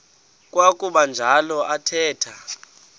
kwakuba njalo athetha